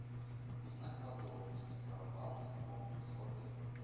узнать подробности про банный комплекс в отеле